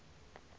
abuye akhe imisho